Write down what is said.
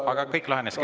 Aga kõik lahenes kenasti.